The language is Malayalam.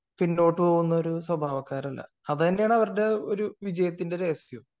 പിന്നോട്ട് പോവുന്ന ഒരു സ്വാഭാവക്കാരല്ല . അത് തന്നെയാണ് അവരുടെ ഒരു വിജയത്തിന്റെ രഹസ്യം